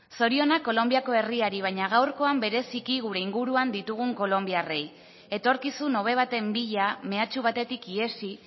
zorionak kolonbiako herriari baina gaurkoan bereziki gure inguruan ditugun kolonbiarrei etorkizun hobe baten bila mehatxu batetik ihesi